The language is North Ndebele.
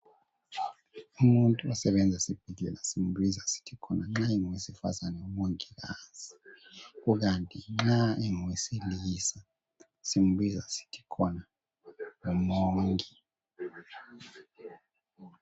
Umuntu osebenza esibhedlela simbiza sithi khona nxa engowesifazane ngumongikazi kukanti nxa engowesilisa simbiza sithi khona ngumongi.